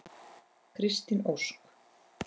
Kristín Ósk.